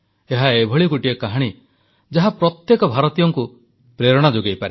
ଏହା ଏଭଳି ଗୋଟିଏ କାହାଣୀ ଯାହା ପ୍ରତ୍ୟେକ ଭାରତବାସୀଙ୍କୁ ପ୍ରେରଣା ଯୋଗାଇପାରେ